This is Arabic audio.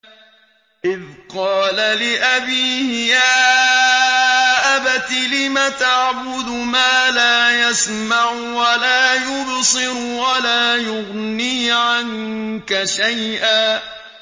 إِذْ قَالَ لِأَبِيهِ يَا أَبَتِ لِمَ تَعْبُدُ مَا لَا يَسْمَعُ وَلَا يُبْصِرُ وَلَا يُغْنِي عَنكَ شَيْئًا